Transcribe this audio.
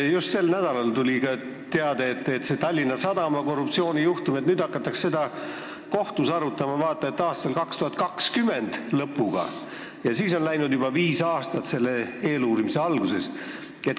Just sel nädalal tuli teade, et seda Tallinna Sadama korruptsioonijuhtumit hakatakse kohtus arutama vaata et 2020. aasta lõpus – siis on eeluurimise algusest läinud juba viis aastat.